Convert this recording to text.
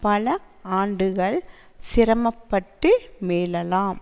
பல ஆண்டுகள் சிரமப்பட்டு மீளலாம்